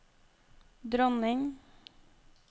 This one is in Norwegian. dronning